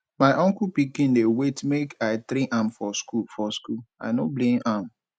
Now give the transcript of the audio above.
my uncle pikin dey wait make i train am for skool for skool i no blame am